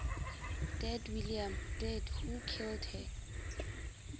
dead william deadwho killed her